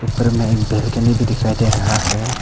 ऊपर में एक बालकनी भी दिखाई दे रहा है।